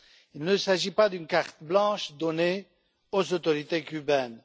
Il ne s'agit pas d'une carte blanche donnée aux autorités cubaines.